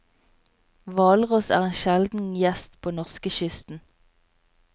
Hvalross er en sjelden gjest på norskekysten.